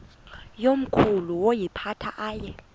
yakomkhulu woyiphatha aye